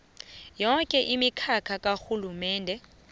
yoke imikhakha karhulumende